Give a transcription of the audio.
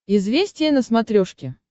известия на смотрешке